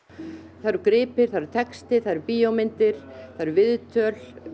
það eru gripir það er texti það eru bíómyndir það eru viðtöl